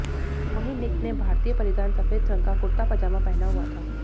वहीं निक ने भारतीय परिधान सफेद रंग का कुर्ता पैजामा पहना हुआ था